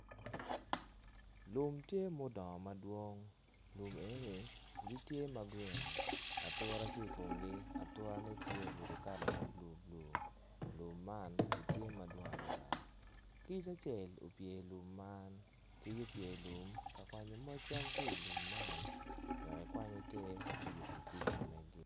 Lum tye ma odongo madwong lum enoni gitye ma grin atura tye i komgi aturane ttye obedo kala ma bulu bulu lum man gitye madwong adada kic acel opye i lum man kic opye i lum ka kwanyo moc cam ki ilum man wek ekwany eter me yubo kic ma mege.